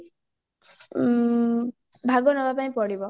ଉମମ ଭାଗ ନବା ପାଇଁ ପଡିବ